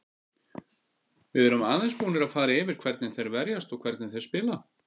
Við erum aðeins búnir að fara yfir hvernig þeir verjast og hvernig þeir spila.